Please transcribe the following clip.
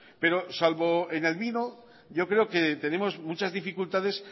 pero salvo en el vino yo creo que tenemos muchas dificultades